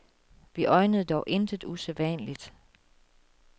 Vi øjnede dog intet usædvanligt.